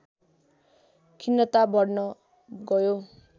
खिन्नता बढ्न गयो